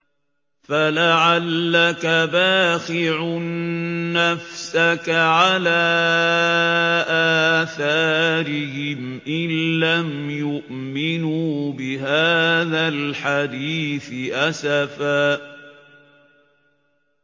فَلَعَلَّكَ بَاخِعٌ نَّفْسَكَ عَلَىٰ آثَارِهِمْ إِن لَّمْ يُؤْمِنُوا بِهَٰذَا الْحَدِيثِ أَسَفًا